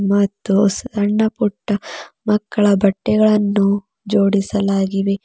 ಮತ್ತು ಸಣ್ಣ ಪುಟ್ಟ ಮಕ್ಕಳ ಬಟ್ಟೆಗಳನ್ನು ಜೋಡಿಸಲಾಗಿದೆ.